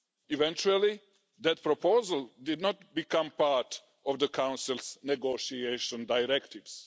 Eventually, that proposal did not become part of the Council's negotiation directives.